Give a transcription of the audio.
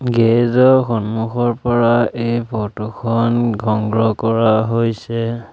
Garage ৰ সন্মুখৰ পৰা এই ফটো খন সংগ্ৰহ কৰা হৈছে।